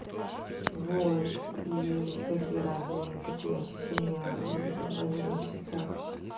вот и всякие разные такие ощущения в отдельных частях